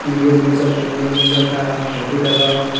view nogjak tongmani nogjaka computer ro.